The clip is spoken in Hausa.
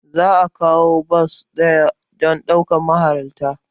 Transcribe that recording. Za a kawo bas ɗaya don ɗaukar mahalarta.